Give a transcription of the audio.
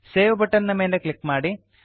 save button ನ ಮೇಲೆ click ಮಾಡಿ